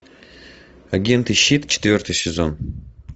агенты щит четвертый сезон